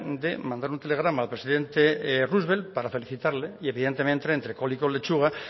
de mandar un telegrama al presidente roosevelt para felicitarle y evidentemente entre col y col lechuga